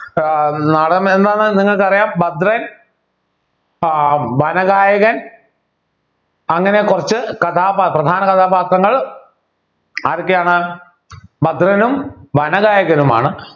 ഏർ നാടകം എന്താണെന്ന് നിങ്ങൾക്ക് അറിയാം ഭദ്രൻ ആഹ് വനഗായകൻ അങ്ങനെ കുറച്ച് കഥാപാത്രം പ്രധാന കഥാപാത്രങ്ങൾ ആരൊക്കെയാണ് ഭദ്രനും വനഗായകനുമാണ്